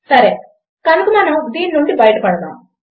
సరే కనుక మనం దీని నుండి బయట పడదాము